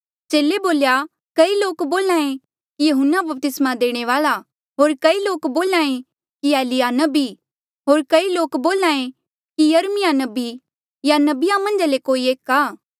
चेले बोल्या कई लोक बोल्हे कि यहून्ना बपतिस्मा देणे वाल्आ होर कई लोक बोल्हे कि एलिय्याह नबी होर कई लोक बोल्हे कि यिर्मयाह नबी या नबिया मन्झा ले कोई एक आ